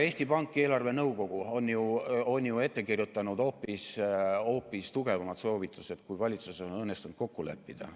Eesti Pank ja eelarvenõukogu on ju ette kirjutanud hoopis tugevamad soovitused, kui valitsusel on õnnestunud kokku leppida.